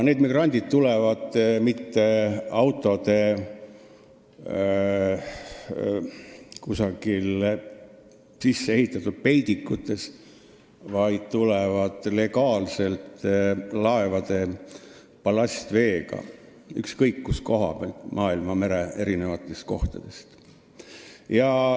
Need migrandid ei tule mitte kuskilt autode sisse ehitatud peidikutest, vaid nad tulevad legaalselt laevade ballastveega, ükskõik kust maailmamere eri kohtadest.